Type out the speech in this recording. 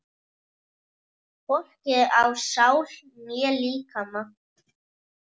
Hvorki á sál né líkama.